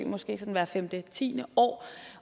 hvert femte ti år